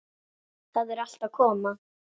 Það er allt að koma.